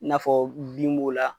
I n'a fɔ bin b'o la